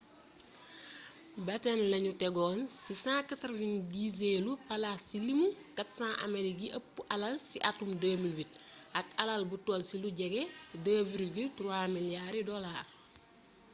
batten lañu teggoon ci 190eelu palaas ci limu 400 amerikee yi ëpp alal ci atum 2008 ak alal bu toll ci lu jege 2,3 miliyaari dolaar